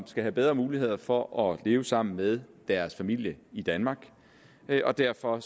skal have bedre muligheder for at leve sammen med deres familie i danmark og derfor